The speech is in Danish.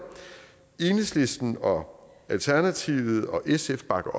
enhedslisten og alternativet og sf bakker